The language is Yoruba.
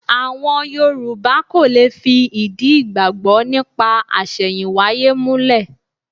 Àwọn Yorù̀bá kò lè fi ìdí ìgbàgbọ́ nípa àṣẹ̀yìnwáyé múlẹ̀.